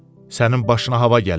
Sənin başına hava gəlib?